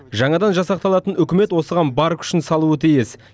жаңадан жасақталатын үкімет осыған бар күшін салуы тиіс